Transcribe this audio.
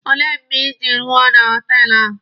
Olee mgbe Ị ji ruo na họtelụ ahụ?